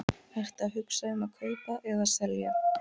Ertu að hugsa um að kaupa eða selja?